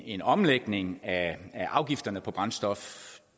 en omlægning af afgifterne på brændstof